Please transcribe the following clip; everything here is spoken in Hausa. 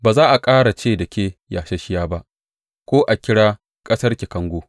Ba za a ƙara ce da ke Yasasshiya ba, ko a kira ƙasarki Kango.